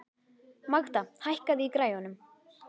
Magda, hækkaðu í græjunum.